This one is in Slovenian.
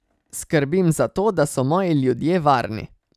Skrbim za to, da so moji ljudje varni.